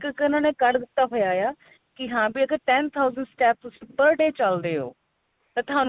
ਇੱਕ ਉਹਨਾ ਨੇ ਕੱਢ ਦਿੱਤਾ ਹੋਇਆ ਆ ਕੀ ਹਾਂ ਵੀ ਅਗਰ ten thousand steps ਤੁਸੀਂ per day ਚੱਲਦੇ ਓ ਤਾਂ